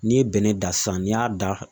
N'i ye bɛnɛ dan sisan n'i y'a dan